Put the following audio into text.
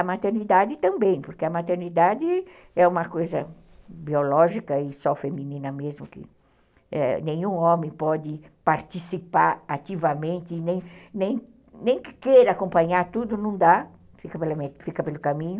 A maternidade também, porque a maternidade é uma coisa biológica e só feminina mesmo, que nenhum homem pode participar ativamente, nem que queira acompanhar tudo, não dá, fica pelo caminho.